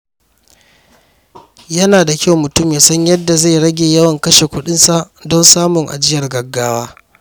Yana da kyau mutum ya san yadda zai rage yawan kashe kuɗinsa don samun ajiyar gaggawa.